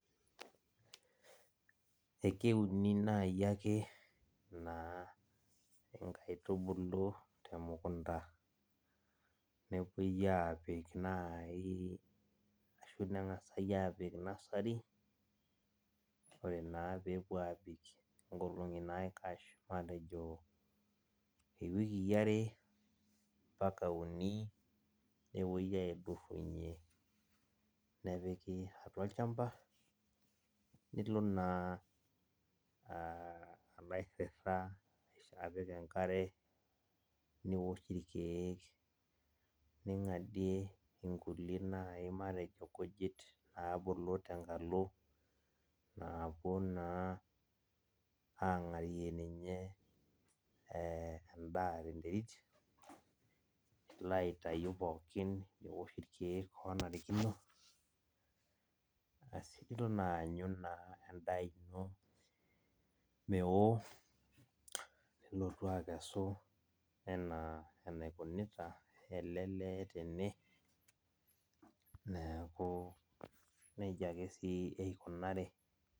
Ekeuni nai akeyie naa inkaitubulu temukunta, nepoi apik nai ashu neng'asai apik nai nasari, ore naa pepuo abik inkolong'i naikash, matejo iwikii are mpaka uni, nepoi aidurrunye nepiki atua olchamba, nilo naa alo airrirra apik enkare, niwosh irkeek, ning'adie inkulie nai matejo nkujit nabulu tenkalo, napuo naa ang'arie ninye endaa tenterit, nilo aitayu pookin niwosh irkeek onarikino, asi niton aanyu naa endaa ino mewo, nilotu akesu enaa enaikunita ele lee tene, neeku nejia ake si eikunari.